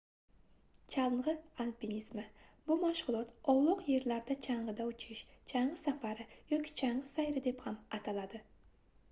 changʻi alpinizmi bu mashgʻulot ovloq yerlarda changʻida uchish changʻi safari yoki changʻi sayri deb ham ataladi